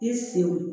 I senw